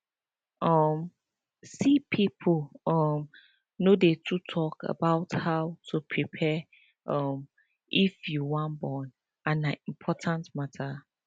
um see people um no dey too talk about how to prepare um if you wan born and na important matter